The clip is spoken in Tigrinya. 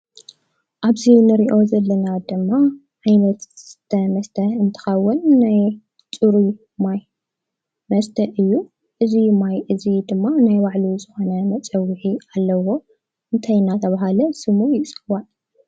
ኣብዚ እንርእዮ ዘለና ድማ ዓይነት መስተ እንትከውን ናይ ፅሩይ ማይ መስተ እዩ። እዙይ ማይ እዙይ ድማ ናይ ባዕሉ ዝኮነ መፀውዒ ኣለዎ። እንታይ እናተባህለ ስሙ ይፅዋዕ?